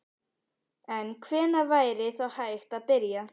En hvenær væri þá hægt að byrja?